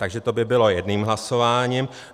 Takže to by bylo jedním hlasováním.